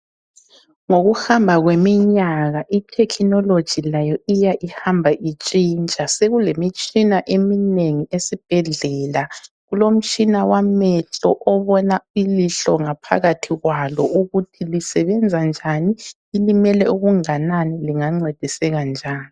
Ngokuhamba kweminyaka ithekhinoloji layo iya ihamba itshintsha. Sekulemitshina eminengi esibhedlela. Kulomtshina wamehlo obona ilihlo ngaphakathi kwalo ukuthi lisebenza njani, lilimele okunganani lingancediseka njani.